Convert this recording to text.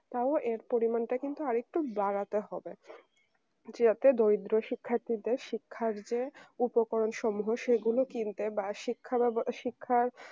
তাও এর পরিমাণটা কিন্তু আরেকটু বাড়াতে হবে যাতে দরিদ্র শিক্ষার্থীদের শিক্ষার চেয়ে উপকরণসমূহ সেগুলো কিনতে বা শিক্ষা ব্যব শিক্ষার